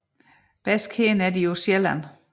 Bedst kendte er de på Sjælland